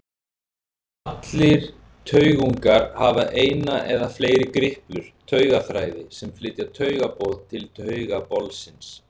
Allir taugungar hafa eina eða fleiri griplur, taugaþræði sem flytja taugaboð til taugabolsins.